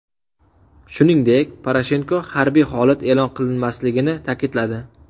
Shuningdek, Poroshenko harbiy holat e’lon qilinmasligini ta’kidladi.